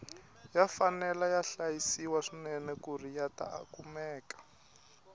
ya fanele ya hlayisiwa swinene kuri yata kumeka